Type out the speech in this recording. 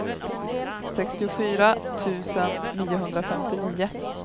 sextiofyra tusen niohundrafemtionio